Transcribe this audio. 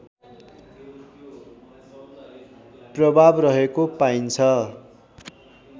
प्रभाव रहेको पाइन्छ